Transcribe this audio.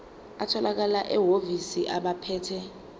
atholakala emahhovisi abaphethe